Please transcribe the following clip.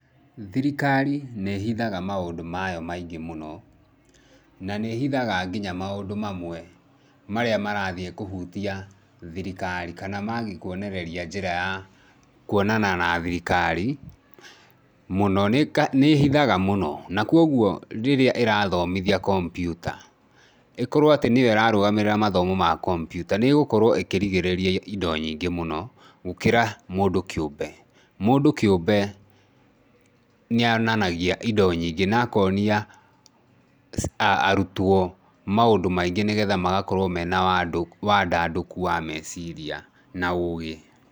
Thirikari nĩ ihithaga maũndũ mayo maingĩ mũno na nĩhithaga nginya maũndũ mamwe marĩa marathii kũhutia thirikari kana mangĩkwonereria njĩra ya kwonana na thirikari mũno nĩhithaga mũno na kwoguo rĩrĩa ĩrathomithia kompyuta ĩkorwe atĩ nĩyo ĩrarũgamĩrĩra kompyuta nĩgũkorwo ĩkĩrigĩrĩria indo nyingĩ mũno gũkĩra mũndũ kĩũmbe ,mũndũ kĩũmbe nĩonanagia indo nyingĩ na akonia arutwo maũndũ maingĩ nigetha makorwo menawandandũku wa meciria.